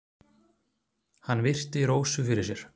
Hann virti Rósu fyrir sér.